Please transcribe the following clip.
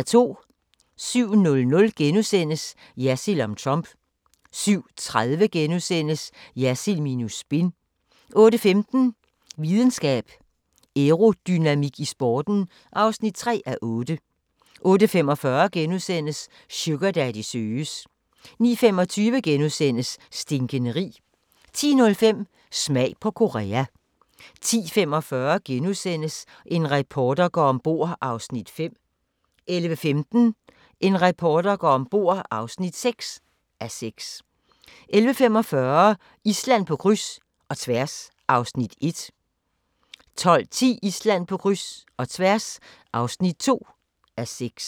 07:00: Jersild om Trump * 07:30: Jersild minus spin * 08:15: Videnskab: Aerodynamik i sporten (3:8) 08:45: Sugardaddy søges * 09:25: Stinkende rig * 10:05: Smag på Korea 10:45: En reporter går om bord (5:6)* 11:15: En reporter går om bord (6:6) 11:45: Island på kryds – og tværs (Afs. 1) 12:10: Island på kryds - og tværs (2:6)